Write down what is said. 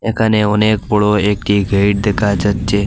এখানে অনেক বড় একটি গেট দেখা যাচ্ছে।